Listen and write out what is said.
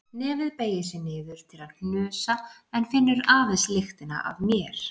Nefið beygir sig niður til að hnusa en finnur aðeins lyktina af mér.